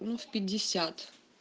ну в пятьдесят